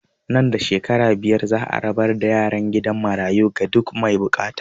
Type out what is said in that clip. Nan da shekaru biyar za a rabar da yaran gidan marayu ga duk mai bukata